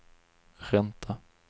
ränta